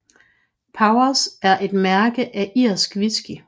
Powers er et mærke af irsk whisky